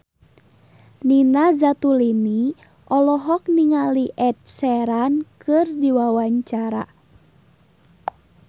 Nina Zatulini olohok ningali Ed Sheeran keur diwawancara